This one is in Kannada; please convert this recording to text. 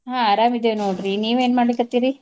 ಆ ಅರಾಮಿದೇವ್ ನೋಡ್ರಿ ನಿವೇನ್ ಮಾಡ್ಲಿಕತ್ತೀರಿ?